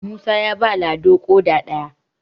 musa ya ba lado ƙoda ɗaya